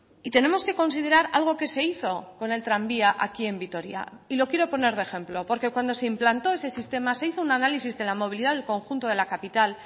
y tenemos que considerar algo que se hizo con el tranvía aquí en vitoria y lo quiero poner de ejemplo porque cuando se implantó ese sistema se hizo un análisis de la movilidad del conjunto de la capital